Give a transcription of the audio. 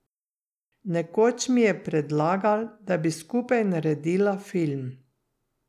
Nekoč mi je predlagal, da bi skupaj naredila film.